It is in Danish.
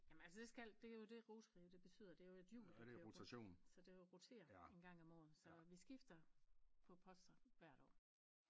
Jamen altså det skal det jo det Rotary det betyder det jo et hjul der kører rundt så det roterer en gang om året så vi skifter på poster hvert år